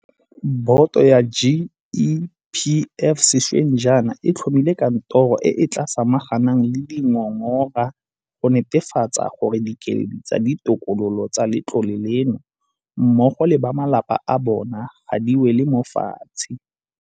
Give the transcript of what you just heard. Boto ya GEPF sešweng jaana e tlhomile kantoro e e tla samaganang le dingongora go netefatsa gore dikeledi tsa ditokololo tsa letlole leno mmogo le ba malapa a bona ga di wele mo fatshe.